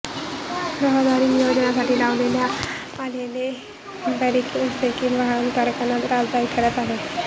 रहदारी नियोजनासाठी लावण्यात आलेले बॅरिकेड्स देखील वाहनधारकांना त्रासदायक ठरत आहेत